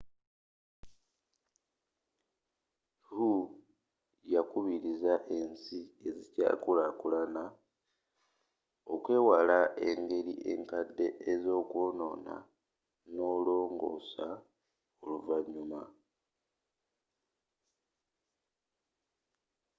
hu yakubirizza ensi ezikyaakulakulana okwewala engeri enkadde ez’okwoonoona n’olongosa oluvanyuma.